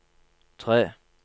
tre